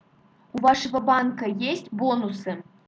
у вашего банка есть бонусы